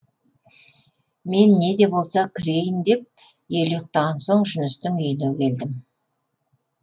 мен не де болса кірейін деп ел ұйықтаған соң жүністің үйіне келдім